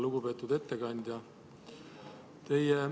Lugupeetud ettekandja!